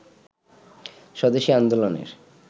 স্বদেশি আন্দোলনের